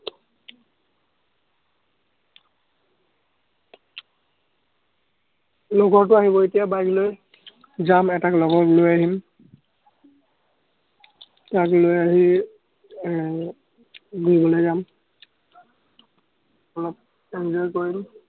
লগৰটো আহিব এতিয়া bike লৈ, যাম, এটাক লগত লৈ আহিম। তাক লৈ আহি এৰ ঘুৰিবলৈ যাম। অলপ enjoy কৰিম।